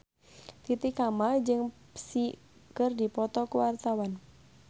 Titi Kamal jeung Psy keur dipoto ku wartawan